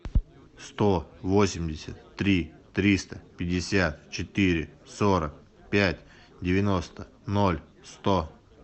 сто восемьдесят три триста пятьдесят четыре сорок пять девяносто ноль сто